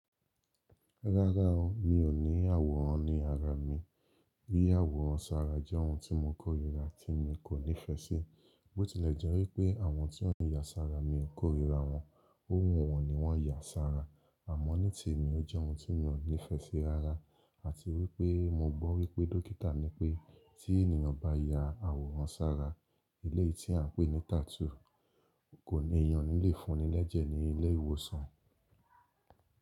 Rárá o, mi ò ní àwòrán ní ara mi. Yiya àwòrán sára jẹ́ ohun tí mo kórìíra tí mi kò nífẹ́ sí. Bó tilẹ̀ jẹ́ wípé àwọn tí wọ́n yà sára mi ò kórìíra wọn, ohun wọn ni wọ́n yà sára. Àmọ́ ní ti èmi ó jẹ́ ohun tí mi o nífẹ́ sí rárá. Àti wípé mo gbọ́ wípé dókítà ní pé tí ènìyàn bá ya àwòrán sára, eleyii tí à ń pè ní tattoo, kò ní, eniyan o ni le fúnni lẹ́jẹ̀ ní ilé ìwòsàn.